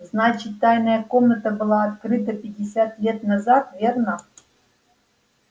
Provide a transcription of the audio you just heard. значит тайная комната была открыта пятьдесят лет назад верно